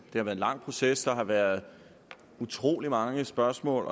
lang proces der har været utrolig mange spørgsmål